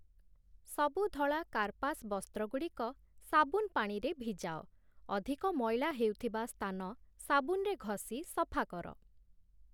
ସବୁ ଧଳା କାର୍ପାସ ବସ୍ତ୍ରଗୁଡ଼ିକ ସାବୁନ ପାଣିରେ ଭିଜାଅ । ଅଧିକ ମଇଳା ହେଉଥିବା ସ୍ଥାନ ସାବୁନରେ ଘଷି ସଫାକର ।